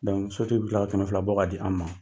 sotigi bɛ kila ka kɛmɛ fila bɔ ka di an ma.